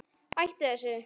Hættu þessu!